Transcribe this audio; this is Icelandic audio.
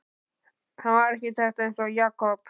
Hann var arkitekt eins og Jakob.